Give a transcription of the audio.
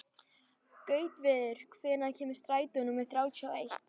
Gautviður, hvenær kemur strætó númer þrjátíu og eitt?